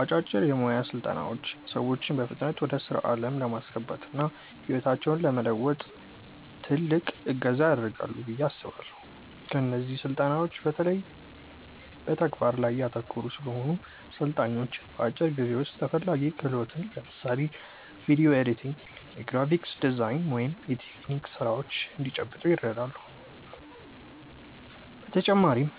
አጫጭር የሞያ ስልጠናዎች ሰዎችን በፍጥነት ወደ ስራ ዓለም ለማስገባትና ህይወታቸውን ለመለወጥ ትልቅ እገዛ ያደርጋሉ ብዬ አስባለው። እነዚህ ስልጠናዎች በተለይ በተግባር ላይ ያተኮሩ ስለሆኑ፣ ሰልጣኞች በአጭር ጊዜ ውስጥ ተፈላጊ ክህሎትን (ለምሳሌ ቪዲዮ ኤዲቲንግ፣ የግራፊክ ዲዛይን ወይም የቴክኒክ ስራዎች) እንዲጨብጡ ይረዳሉ። በተጨማሪም፣